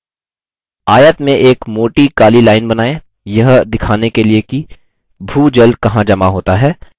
आयत में एक मोटी काली line बनाएँ यह दिखाने के लिए कि भूजल कहाँ जमा होता है